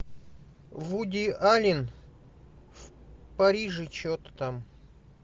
вуди аллен в париже что то там